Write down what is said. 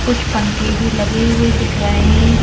कुछ पंखे भी लगे हुए दिख रहे हैं।